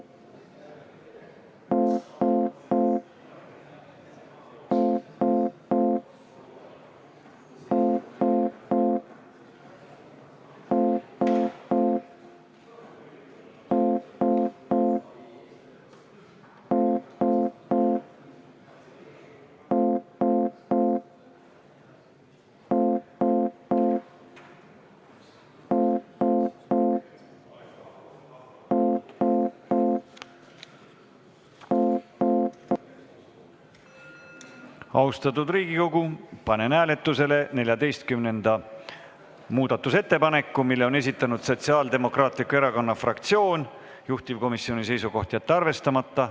Austatud Riigikogu, panen hääletusele 14. muudatusettepaneku, mille on esitanud Sotsiaaldemokraatliku Erakonna fraktsioon, juhtivkomisjoni seisukoht: jätta arvestamata.